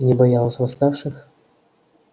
и не боялась восставших